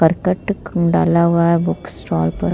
करकट खूम डाला हुआ है बुक्स स्टॉल पर।